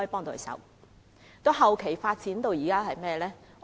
到後期發展到怎樣呢？